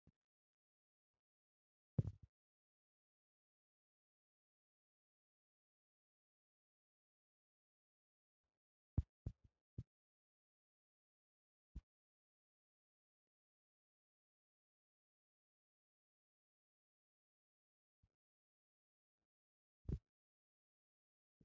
Naa"u Assati Dumma Dumma Meray De"iyoo Maayuwaa mayidi Oyddiyan Uttidi Miizzaa Galbbaappe Oosettida kambbaa Baqqiidi Uttidosona. Etappe Haddirsa Baggan Uttidaage Maahiyaa Galbbaakka Maayidi Uttiis.